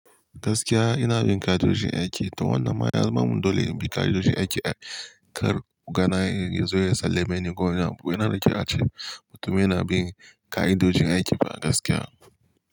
Gaskiya ina bin ka'idojin aiki to wannan ma yanza min dole in bi ka'idojin aiki kar oga na yazo ya sallame ni kowani abu. Ina riƙe a ce mutum yana bin ka'idojin aiki ba a gaskiya ba.